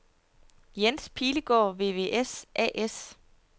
Jens Pilegaard VVS A/S